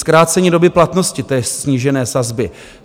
Zkrácení doby platnosti té snížení sazby.